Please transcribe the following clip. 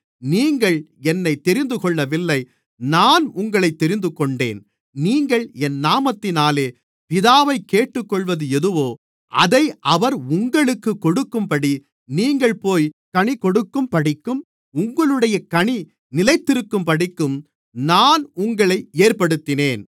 நீங்கள் என்னைத் தெரிந்துகொள்ளவில்லை நான் உங்களைத் தெரிந்துகொண்டேன் நீங்கள் என் நாமத்தினாலே பிதாவைக் கேட்டுக்கொள்ளுவது எதுவோ அதை அவர் உங்களுக்குக் கொடுக்கும்படி நீங்கள் போய்க் கனி கொடுக்கும்படிக்கும் உங்களுடைய கனி நிலைத்திருக்கும்படிக்கும் நான் உங்களை ஏற்படுத்தினேன்